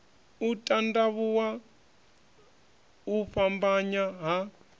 u tandavhuwa u fhambanya ha